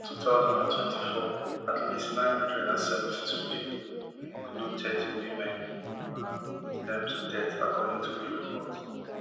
for two thousand and twenty-four at least nine hundred and seventy-two pipo wey include thirty women iran put dem to death according to di report